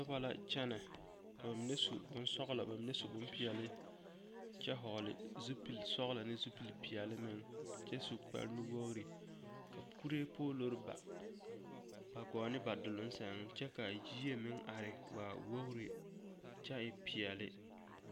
Noba la kyɛnɛ ka bamine su bonsɔgelɔ bamine su bompeɛle kyɛ hɔɔle zupili sɔgelɔ ne zupili peɛle meŋ kyɛ su kpare nu-wogiri ka kuree poolori ba ba gɔɔ ne ba duluŋ sɛŋ kyɛ ka yie meŋ are waa wogiri kyɛ e peɛle.